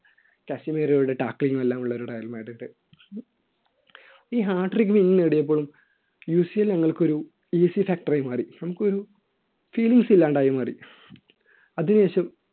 ശശി മേരിയുടെ ടക്കളിങ്ങും എല്ലാമുള്ള ഒരു റയൽ മാഡ്രിഡ് ഈ Hattric win നേടിയപ്പോഴും യൂഷ്യയെ ഞങ്ങൾക്ക് ഒരു factor ആയി മാറി നമുക്കൊരു feelings ഇല്ലാണ്ടായി മാറി അതിനു ശേഷം